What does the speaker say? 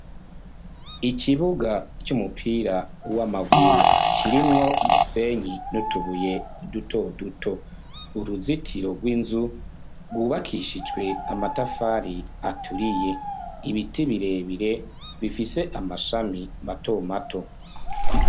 Ikibuga c'umupira w'amaguru kirimwo umusenyi n'utubuye dutoduto. Uruzitiro rw'inzu rwubakishijwe amatafari aturiye. Ibiti birebire bifise amashami matomato.